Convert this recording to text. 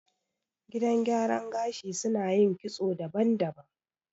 Gidan gyaran gashi suna yin kitso daban-daban